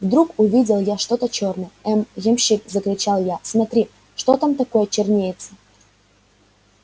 вдруг увидел я что-то чёрное эй ямщик закричал я смотри что там такое чернеется